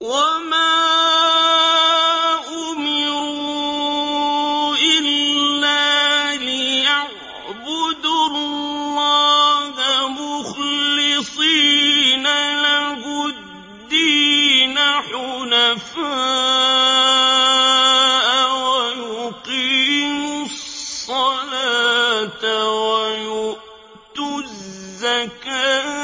وَمَا أُمِرُوا إِلَّا لِيَعْبُدُوا اللَّهَ مُخْلِصِينَ لَهُ الدِّينَ حُنَفَاءَ وَيُقِيمُوا الصَّلَاةَ وَيُؤْتُوا الزَّكَاةَ ۚ